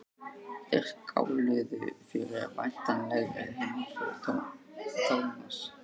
Þeir skáluðu fyrir væntanlegri heimför Thomas.